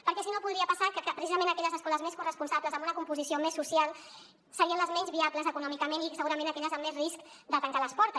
perquè si no podria passar que precisament aquelles escoles més corresponsables amb una composició més social serien les menys viables econòmicament i segurament aquelles amb més risc de tancar les portes